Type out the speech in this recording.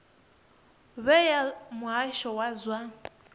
we ya muhasho wa zwa